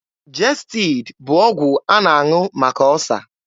Jestid bụ ọgwụ a na-aṅụ maka ọsa.